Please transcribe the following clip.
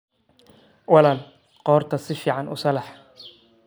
Walaal qoorta si fiican u salaax.